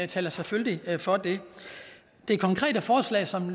taler selvfølgelig for det det konkrete forslag som